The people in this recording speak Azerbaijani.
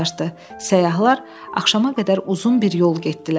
Səyyahlar axşama qədər uzun bir yol getdilər.